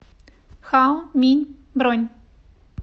хао минь бронь